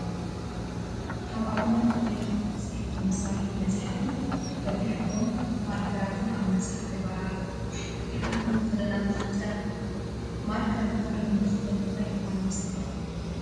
ካብ ኣብነታት ናይ ፅሕፈት መሳርሕታት መፅሓፍን በቢሕብሮም ማርከራትን ኣብ መፅሓፈ ይራኣዩ ኣለው፡፡ እቲ ሓንቲ መኽደና ተኸፊታ ትረአ፡፡ ማርከር መኽደኑ እንትኽፈት እንታይ ይኾን ይመስለኩም?